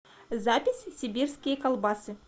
запись сибирские колбасы